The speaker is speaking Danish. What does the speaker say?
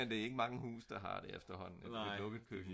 men det er ikke mange huse der har det efter hånden med et lukket køkken